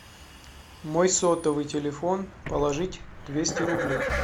мой сотовый телефон положить двести рублей